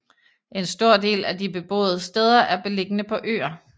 En stor del af de beboede steder er beliggende på øer